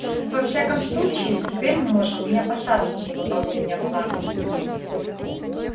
во всяком случае теперь мы можем не опасаться за выполнение плана